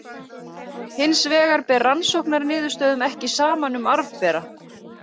Hins vegar ber rannsóknarniðurstöðum ekki saman um arfbera.